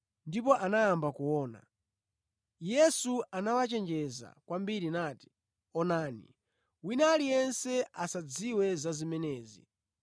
Ndipo anayamba kuona. Yesu anawachenjeza kwambiri nati, “Onani, wina aliyense asadziwe za zimenezi.”